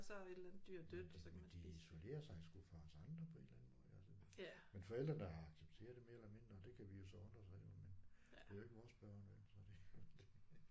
Men de men de isolerer sig sgu fra os andre på en eller anden måde altså. Men forældrene har accepteret det mere eller mindre det kan vi jo så undre os rigtig over men det er jo ikke vores børn vel så det